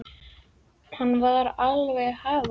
Hann var alveg að hafa það.